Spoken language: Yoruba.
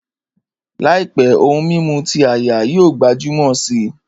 Làìpé, ohun mímu ti áyá yóò gbajúmọ̀ si